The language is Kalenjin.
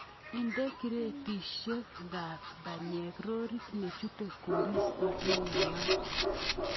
Inde kiretisiekab panyek rorit nechute koristo neyamat.